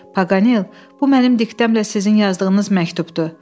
Paqanel, bu mənim diktəmlə sizin yazdığınız məktubdur.